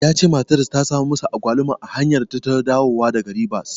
Ya cewa matarsa ta samu masa Agwaluma a hanyarta ta dawowa daga Ribas.